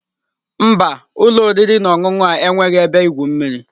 Mba, ụlọ oriri na ọṅụṅụ a enweghị ebe igwu mmiri.